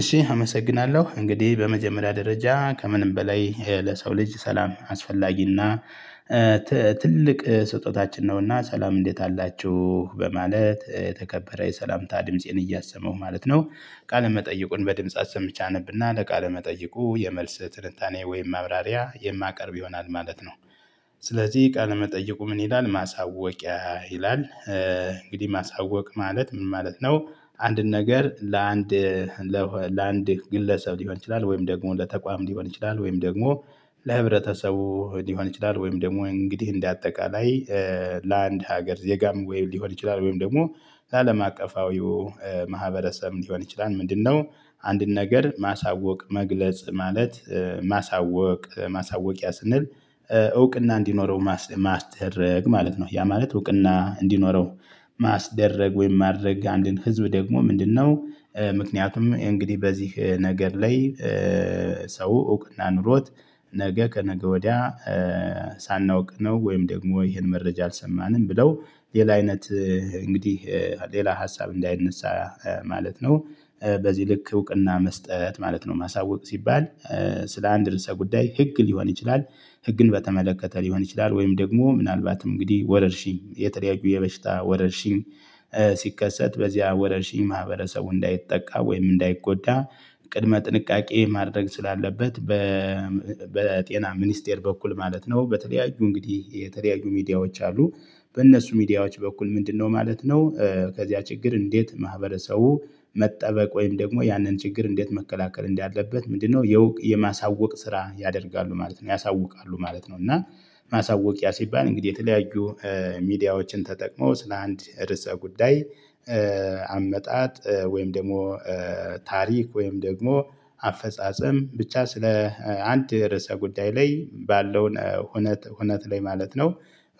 እሺ አመሰግናለሁ እንግዲህ በመጀመሪያ ደረጃ ከምንም በላይ ለሰው ልጅ ሰላም አስፈላጊና ትልቅ ስጦታችን ነውና ሰላም እንዴት አላችሁ በማለት ተከበረ የሰላምታ ድምፄን እያሰመው ማለት ነው። ቃለመጠይቁን በድምጽ አሰምቼ አነብና ለቃለ መጠይቁ የመልስ ትልታኔ ወይም መብራሪያ የማቀርብ ይሆናል ማለት ነው። ስለዚህ ቃል መጠየቁ ምን ይላል ማሳወቂያ ይላል። እንግዲህ ማሳወቅ ማለት ምን ማለት ነው? አንድን ነገር ለአንድ ለአንድ ግለሰብ ሊሆን ይችላል ወይም ደግሞ ለተቋም ሊሆን ይችላል ወይም ደግሞ ለህብረተሰቡ ሊሆን ይችላል ወይም ደግሞ እንግዲህ እንደ አጠቃላይ። ለአንድ ሀገር ዜጋም ሊሆን ይችላል ወይም ደግሞ ለአለም አቀፋዊው ማህበረሰብ ሊሆን ይችላል። ምንድነው? አንድን ነገር ማሳወቅ መግለጽ ማለት ማሳወቅ ማሳወቂያ ስንል እውቅና እንዲኖረው ማስደረግ ማለት ነው። ያ ማለት እውቅና እንዲኖረው ማስደረግ ወይም ማድረግ አንድን ህዝብ ደግሞ ምንድነው ምክንያቱም እንግዲህ በዚህ ነገር ላይ። ሰው እውቅና ኑሮት ነገ ከነገ ወዲያ። ሳናውቅ ነው ወይም ደግሞ ይሄን መረጃ አልሰማንም ብለው ሌላ አይነት እንግዲህ ሌላ ሀሳብ እንዳይነሳ ማለት ነው። በዚህ ልክ እውቅና መስጠት ማለት ነው ማሳወቅ ሲባል ስለ አንድ ርዕሰ ጉዳይ ህግ ሊሆን ይችላል። ህግን በተመለከተ ሊሆን ይችላል ወይም ደግሞ ምናልባትም እንግዲህ ወረርሺኝ የተለያዩ የበሽታ ወረርሽኝ። ሲከሰት በዚያ ወረርሽኝ ማህበረሰቡ እንዳይጠቃ ወይም እንዳይጎዳ ቅድመ ጥንቃቄ ማድረግ ስላለበት በጤና ሚኒስቴር በኩል ማለት ነው። በተለያዩ እንግዲህ የተለያዩ ሚዲያዎች አሉ። በእነሱ ሚዲያዎች በኩል ምንድነው? ማለት ነው ከዚያ ችግር እንዴት ማህበረሰቡ መጠበቅ ወይም ደግሞ ያንን ችግር እንዴት መከላከል እንዳለበት ምንድነው የማሳወቅ ስራ ያደርጋሉ ማለት ነው ያሳውቃሉ ማለት ነው። እና ማሳወቅያ ሲባል እንግዲህ የተለያዩ ሚዲያዎችን ተጠቅመው ስለ አንድ ርዕሰ ጉዳይ አመጣጥ ወይም ደግሞ ታሪክ ወይም ደግሞ አፈጻጸም ብቻ ስለ አንድ ርዕሰ ጉዳይ ላይ ባለው ሁነት ላይ ማለት ነው።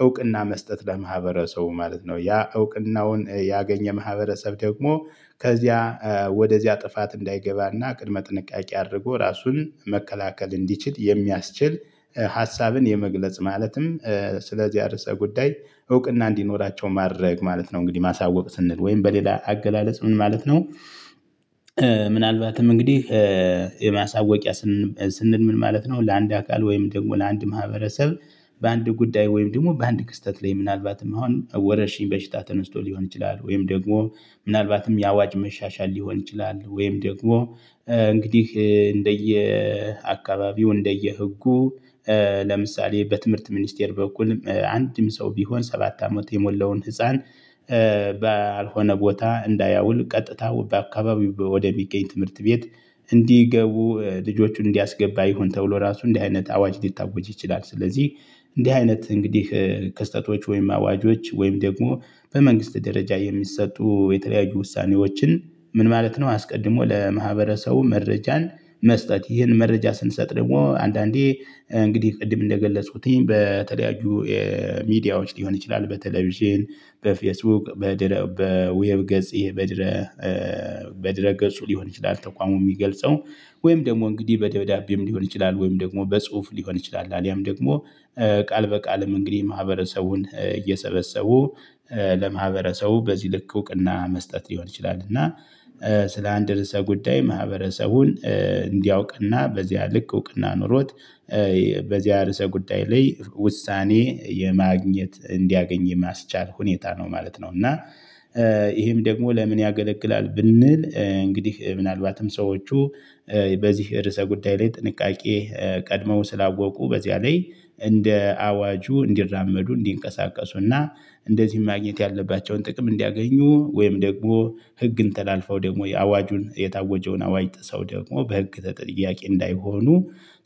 እውቅና መስጠት ለማህበረሰቡ ማለት ነው ያ እውቅናውን ያገኘ ማህበረሰብ ደግሞ ከዚያ ወደዚያ ጥፋት እንዳይገባና ቅድመ ጥንቃቄ አድርጎ ራሱን መከላከል እንዲችል የሚያስችል ሀሳብን የመግለጽ ማለትም ስለዚያ አርሰ ጉዳይ እውቅና እንዲኖራቸው ማድረግ ማለት ነው። እንግዲህ ማሳወቅ ስንል ወይም በሌላ አገላለጽ ምን ማለት ነው? ምናልባትም እንግዲህ የማሳወቂያ ስንል ምን ማለት ነው? ለአንድ አካል ወይም ደግሞ ለአንድ ማህበረሰብ በአንድ ጉዳይ ወይም ደግሞ በአንድ ክስተት ላይ ምናልባትም አሁን ወረሽኝ በሽታ ተነስቶ ሊሆን ይችላል ወይም ደግሞ ምናልባትም የአዋጅ መሻሻል ሊሆን ይችላል ወይም ደግሞ እንግዲህ እንደየ አካባቢው እንደየ እንደየ ህጉ። ለምሳሌ በትምህርት ሚኒስቴር በኩል አንድም ሰው ቢሆን ሰባት አመት የሞላውን ህፃን ባልሆነ ቦታ እንዳያውል ቀጥታ በአካባቢ ወደሚገኝ ትምህርት ቤት። እንዲገቡ ልጆቹን እንዲያስገባ ይሆን ተብሎ ራሱ እንዲህ አይነት አዋጅ ሊታወጅ ይችላል። ስለዚህ እንዲህ አይነት እንግዲህ ክስተቶች ወይም አዋጆች ወይም ደግሞ በመንግስት ደረጃ የሚሰጡ የተለያዩ ውሳኔዎችን ምን ማለት ነው? አስቀድሞ ለማህበረሰቡ መረጃን መስጠት ይህን መረጃ ስንሰጥ ደግሞ አንዳንዴ እንግዲህ ቅድም እንደገለጽኩት በተለያዩ ሚዲያዎች ሊሆን ይችላል። በቴሌቪዥን በፌስቡክ በዌብ ገጽ በድረ ገፁ ሊሆን ይችላል። ተቋሙ የሚገልጸው ወይም ደግሞ እንግዲህ በደብዳቤም ሊሆን ይችላል ወይም ደግሞ በጽሁፍ ሊሆን ይችላል አሊያም ደግሞ ቃል በቃልም እንግዲህ ማህበረሰቡን እየሰበሰቡ ለማህበረሰቡ በዚህ ልክ እውቅና መስጠት ሊሆን ይችላል። እና ስለ አንድ ርዕሰ ጉዳይ ማህበረሰቡን እንዲያውቅና በዚያ ልክ እውቅና ኖሮት በዚያ ርዕሰ ጉዳይ ላይ ውሳኔ የማግኘት እንዲያገኝ የማስቻል ሁኔታ ነው ማለት ነው። እና ይሄም ደግሞ ለምን ያገለግላል ብንል እንግዲህ ምናልባትም ሰዎቹ በዚህ ርዕሰ ጉዳይ ላይ ጥንቃቄ ቀድመው ስላወቁ በዚያ ላይ እንደ አዋጁ እንዲራመዱ እንዲንቀሳቀሱና እንደዚህ ማግኘት ያለባቸውን ጥቅም እንዲያገኙ ወይም ደግሞ ህግን ተላልፈው ደግሞ የአዋጁን የታወጀውን አዋጅ ጥሰው ደግሞ በህግ ተጠያቂ እንዳይሆኑ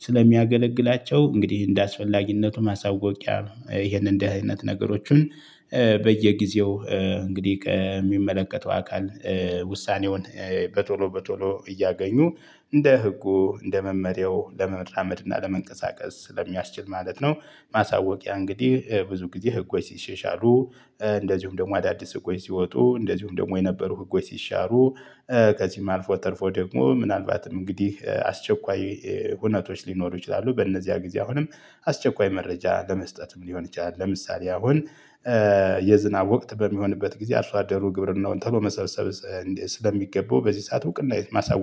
ስለሚያገለግላቸው እንግዲህ እንደአስፈላጊነቱ ማሳወቂያ ይሄንን እንደዚህ አይነት ነገሮችን በየጊዜው እንግዲህ ከሚመለከተው አካል ውሳኔውን በቶሎ በቶሎ እያገኙ እንደ ህጉ እንደ መመሪያው ለመምራመድ እና ለመንቀሳቀስ ስለሚያስችል ማለት ነው። ማሳወቂያ እንግዲህ ብዙ ጊዜ ህጎች ሲሻሻሉ እንደዚሁም ደግሞ አዳዲስ ህጎች ሲወጡ እንደዚሁም ደግሞ የነበሩ ህጎች ሲሻሩ ከዚህም አልፎ ተርፎ ደግሞ ምናልባትም እንግዲህ አስቸኳይ ሁነቶች ሊኖሩ ይችላሉ። በእነዚያ ጊዜ አሁንም አስቸኳይ መረጃ ለመስጠትም ሊሆን ይችላል። ለምሳሌ አሁን የዝናብ ወቅት በሚሆንበት ጊዜ አርሶ አደሩ ግብርናውን ተሎ መሰብሰብ ስለሚገባው በዚህ ሰዓት እውቅና ማሳወቅ